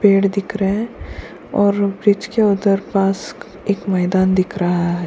पेड़ दिख रहे हैं और ब्रिज के उधर पास एक मैदान दिख रहा है।